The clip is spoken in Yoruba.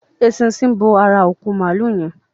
Eṣinṣin bò àrà òkú Maalu yén.